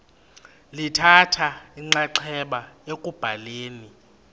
lithatha inxaxheba ekubhaleni